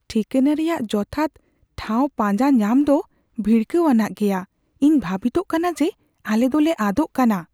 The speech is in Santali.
ᱴᱷᱤᱠᱟᱹᱱᱟ ᱨᱮᱭᱟᱜ ᱡᱚᱛᱷᱟᱛ ᱴᱷᱟᱶ ᱯᱟᱸᱡᱟ ᱧᱟᱢ ᱫᱚ ᱵᱷᱤᱲᱠᱟᱹᱣᱟᱱᱟᱜ ᱜᱮᱭᱟ ᱾ ᱤᱧ ᱵᱷᱟᱵᱤᱛᱚᱜ ᱠᱟᱱᱟ ᱡᱮ ᱟᱞᱮ ᱫᱚᱞᱮ ᱟᱫᱚᱜ ᱠᱟᱱᱟ ᱾